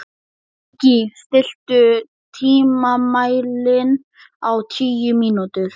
Gígí, stilltu tímamælinn á tíu mínútur.